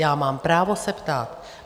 Já mám právo se ptát.